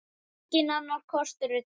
Enginn annar kostur er til.